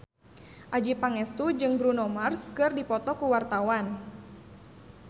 Adjie Pangestu jeung Bruno Mars keur dipoto ku wartawan